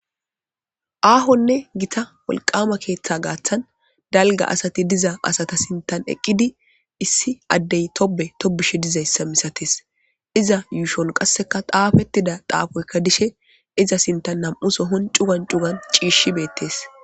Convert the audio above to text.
Ahonne gita wolqama keetha gathan dalga asati diza asata sinthan eqidi issi addey tone tobishe dizaysa misates iza yuushon qaseka xaafetida xaafoyka dishe iza sintha nam'u sohon cugan cugan cishata beetes.